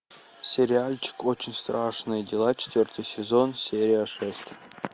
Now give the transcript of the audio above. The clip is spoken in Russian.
сериальчик очень страшные дела четвертый сезон серия шесть